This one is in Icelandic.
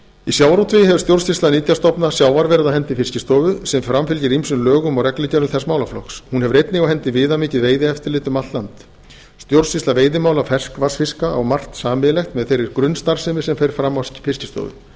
í sjávarútvegi hefur stjórnsýsla nytjastofna sjávar verið á hendi fiskistofu sem framfylgir ýmsum lögum og reglugerðum þess málaflokks hún hefur einnig á hendi viðamikið veiðieftirlit um allt land stjórnsýsla veiðimála ferskvatnsfiska á margt sameiginlegt með þeirri grunnstarfsemi sem fram fer á fiskistofu